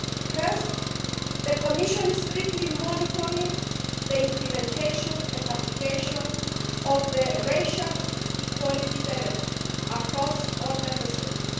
Firstly, the Commission is strictly monitoring the implementation and application of the Racial Equality Directive across all Member States.